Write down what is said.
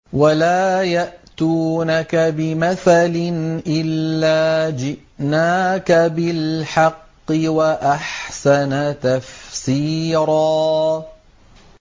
وَلَا يَأْتُونَكَ بِمَثَلٍ إِلَّا جِئْنَاكَ بِالْحَقِّ وَأَحْسَنَ تَفْسِيرًا